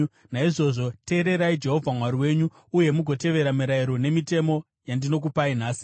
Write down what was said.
Naizvozvo teererai Jehovha Mwari wenyu uye mugotevera mirayiro nemitemo yandinokupai nhasi.”